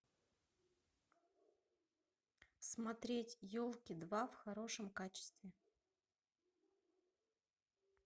смотреть елки два в хорошем качестве